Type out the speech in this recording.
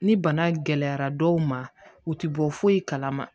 Ni bana gɛlɛyara dɔw ma u ti bɔ foyi kalama